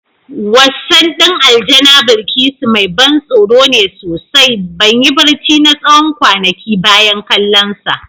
Wassan din Aljana Bilkisu mai ban tsoro ne sosai, ban yi barci na tsawon kwanaki bayan kallonsa.